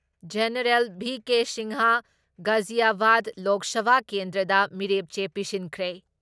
General V K. Singh Ghaziabad Lok Sabha ꯀꯦꯟꯗ꯭ꯔꯗ ꯃꯤꯔꯦꯞ ꯆꯦ ꯄꯤꯁꯤꯟꯈ꯭ꯔꯦ ꯫